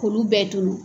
K'olu bɛɛ tol